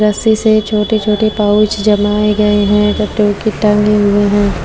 रस्सी से छोटे छोटे पाउच जमाए गए है हुए है।